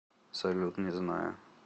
салют не знаю